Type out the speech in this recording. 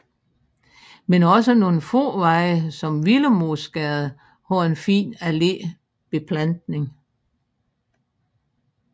Men også nogle få veje som Willemoesgade har en fin allébeplantning